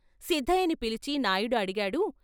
సిద్ధయ్యని పిలిచి నాయుడు అడిగాడు.